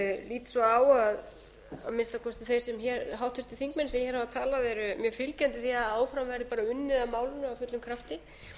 lít svo á að að minnsta kosti þeir háttvirtir þingmenn sem hér hafa talað séu mjög fylgjandi því að áfram verði bara unnið að málinu af fullum krafti